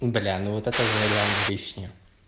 бля ну вот это уже реально лишнее